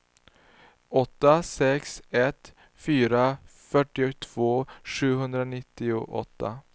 åtta sex ett fyra fyrtiotvå sjuhundranittioåtta